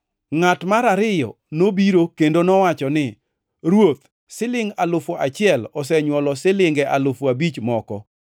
“Ngʼat mar ariyo nobiro kendo nowacho ni, ‘Ruoth, silingʼ alufu achiel osenywolo silinge alufu abich moko.’